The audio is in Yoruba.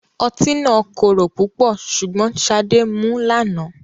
Ọtí náà korò pupo sugbon Sade mu lana